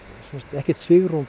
ekkert svigrúm